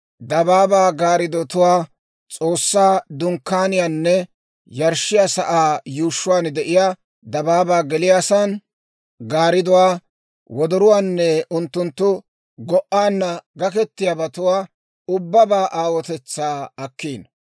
dabaabaa gaariddotuwaa, S'oossaa Dunkkaaniyaanne yarshshiyaa sa'aa yuushshuwaan de'iyaa dabaabaa geliyaasan gaaridduwaa, wodorotuwaanne unttunttu go"aanna gaketiyaabatuwaa ubbabaa aawotetsaa akkiino.